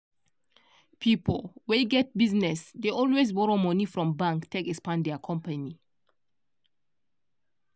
pipo wey get business dey always borrow money from bank take expand their company.